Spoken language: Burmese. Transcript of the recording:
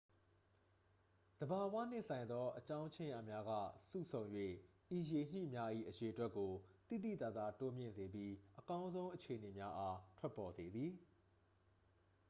သဘာဝနှင့်ဆိုင်သော အကြောင်းခြင်းရာများက စုဆုံ၍ ဤရေညှိများ၏ အရေအတွက်ကို သိသိသာသာ တိုးမြင့်စေပြီး အကောင်းဆုံးအခြေအနေများအား ထွက်ပေါ်စေသည်